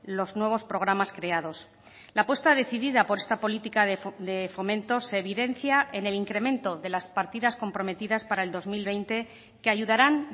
los nuevos programas creados la apuesta decidida por esta política de fomento se evidencia en el incremento de las partidas comprometidas para el dos mil veinte que ayudarán